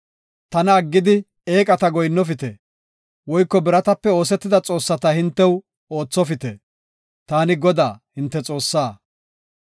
“Tana aggidi eeqata goyinnofite; woyko biratape oosetida xoossata hintew oothopite. Taani Godaa, hinte Xoossaa.